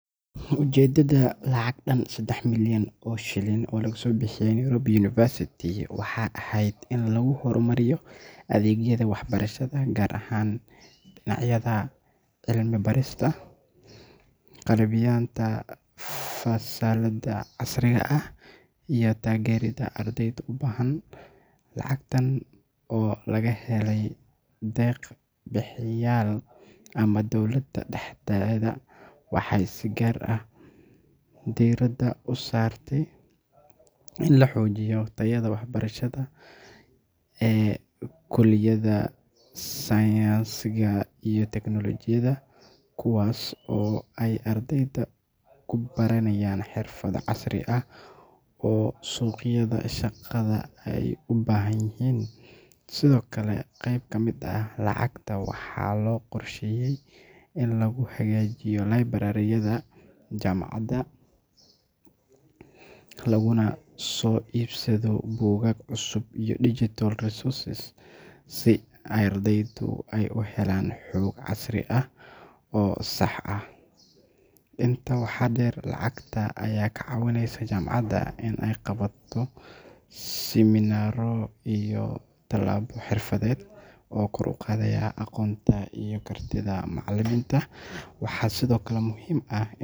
Ujeeddada lacag dhan saddex milyan oo shilin oo loo bixiyey Nairobi University waxay ahayd in lagu horumariyo adeegyada waxbarashada, gaar ahaan dhinacyada cilmi-baarista, qalabaynta fasallada casriga ah, iyo taageeridda ardayda u baahan. Lacagtan oo laga helay deeq-bixiyayaal ama dowladda dhexdeeda waxay si gaar ah diiradda u saartay in la xoojiyo tayada waxbarashada ee kulliyadaha sayniska iyo tiknoolajiyadda, kuwaas oo ay ardayda ku baranayaan xirfado casri ah oo suuqyada shaqada ay u baahan yihiin. Sidoo kale qayb ka mid ah lacagta waxaa loo qorsheeyay in lagu hagaajiyo library-yada jaamacadda, laguna soo iibsado buugaag cusub iyo digital resources si ardaydu ay u helaan xog casri ah oo sax ah. Intaa waxaa dheer, lacagta ayaa ka caawinaysa jaamacadda inay qabato siminaaro iyo tababaro xirfadeed oo kor u qaadaya aqoonta iyo kartida macallimiinta. Waxaa sidoo kale muhiim ah.